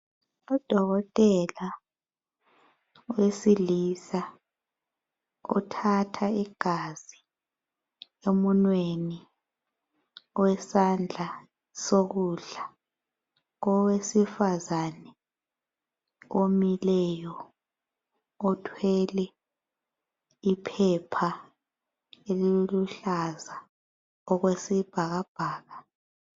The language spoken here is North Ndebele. Udokotela owesilisa uthatha igazi emunweni owesandla sokudla kowesifazane omileyo othwele iphepha eliluhlaza okwesibhakabhaka.